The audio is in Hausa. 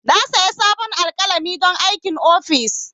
Na sayi sabon alƙalami don aikin office.